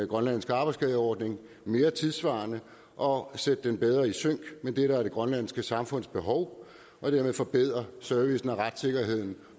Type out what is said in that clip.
grønlandske arbejdsskadeordning mere tidssvarende og sætte den bedre i sync med det der er det grønlandske samfunds behov og dermed forbedre servicen og retssikkerheden